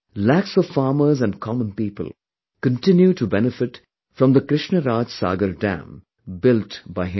Lakhs of farmers and common people continue to benefit from the Krishna Raj Sagar Dam built by him